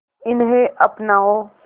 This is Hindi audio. इन्हें अपनाओ